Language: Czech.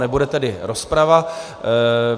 Nebude tedy rozprava.